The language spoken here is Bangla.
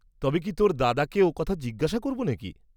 তবে কি তোর দাদাকে ও কথা জিজ্ঞাসা করব নাকি?